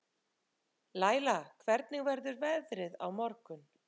Læla, hvernig verður veðrið á morgun?